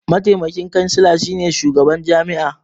Mataimakin kansila shine shugaban jami'a.